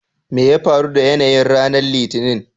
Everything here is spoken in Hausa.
me ya faru da yanayin ranar Litinin?